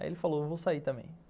Aí ele falou, eu vou sair também.